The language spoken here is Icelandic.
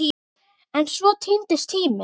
En svona týnist tíminn.